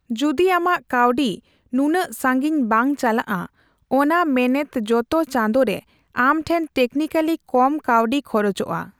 ᱡᱩᱫᱤ ᱟᱢᱟᱜ ᱠᱟᱹᱣᱰᱤ ᱱᱩᱱᱟᱹᱜ ᱥᱟᱺᱜᱤᱧ ᱵᱟᱝ ᱪᱟᱞᱟᱜᱼᱟ, ᱚᱱᱟ ᱢᱮᱱᱮᱛ ᱡᱚᱛᱚ ᱪᱟᱸᱫᱳᱨᱮ ᱟᱢ ᱴᱷᱮᱱ ᱴᱮᱠᱱᱤᱠᱮᱞᱤ ᱠᱚᱢ ᱠᱟᱹᱣᱰᱤ ᱠᱷᱚᱨᱚᱪᱚᱜᱼᱟ ᱾